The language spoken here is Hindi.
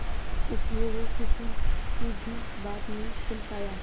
इसलिए वो किसी की भी बात नहीं सुन पाया